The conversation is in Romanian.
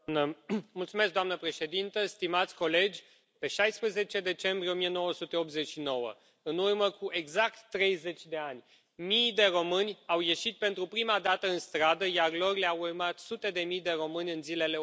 Doamnă președintă, stimați colegi, pe 16 decembrie 1989, în urmă cu exact 30 de ani, mii de români au ieșit, pentru prima dată, în stradă, iar lor le au urmat sute de mii de români în zilele următoare.